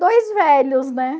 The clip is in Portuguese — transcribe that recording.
Dois velhos, né?